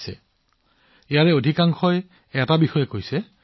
এটা বিষয় সদায়ৰ দৰে বেছিভাগ মানুহৰ বাৰ্তাত উপলব্ধ আছে